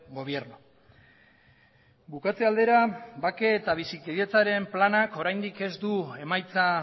gobierno bukatze aldera bake eta bizikidetzaren planak oraindik ez du emaitza